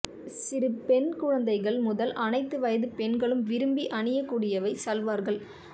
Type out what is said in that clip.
சிறு பெண் குழந்தைகள் முதல் அனைத்து வயது பெண்களும் விரும்பி அணியக்கூடியவை சல்வார்கள்